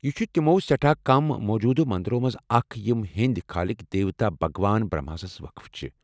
یہ چھ تِمو سیٹھاہ كم موجوٗدٕ مندرو منٛزٕ اکھ یِم ہیٚنٛدۍ خالق دِوتاہ بھگوان برہماہسس وقف چھِ ۔